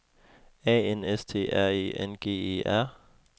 A N S T R E N G E R